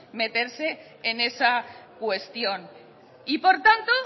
meterse en esa cuestión y por tanto